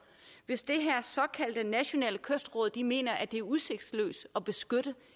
hvis det her såkaldte nationale kystråd mener at det er udsigtsløst at beskytte